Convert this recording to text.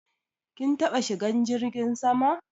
Kin taba shigan jirgin sama?